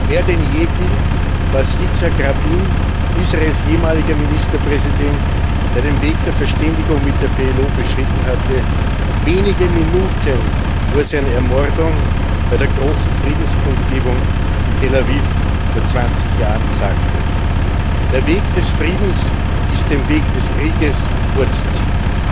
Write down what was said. Mehr denn je gilt, was Yitzhak Rabin, Israels ehemaliger Ministerpräsident, der den Weg der Verständigung mit der PLO beschritten hatte, wenige Minuten vor seiner Ermordung bei der großen Friedenskundgebung in Tel Aviv vor 20 Jahren sagte Der Weg des Friedens ist dem Weg des Krieges vorzuziehen.